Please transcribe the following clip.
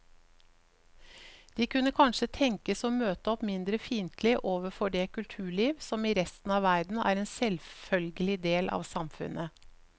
De kunne kanskje tenkes å møte opp mindre fiendtlige overfor det kulturliv som i resten av verden er en selvfølgelig del av samfunnet.